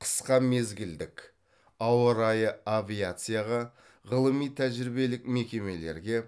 қысқа мезгілдік ауа райы авиацияға ғылыми тәжірибелік мекемелерге